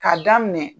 K'a daminɛ